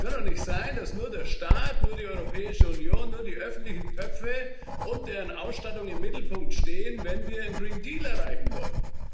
Es kann doch nicht sein, dass nur der Staat, nur die Europäische Union, nur die öffentlichen Töpfe und deren Ausstattung im Mittelpunkt stehen, wenn wir einen Green Deal erreichen wollen.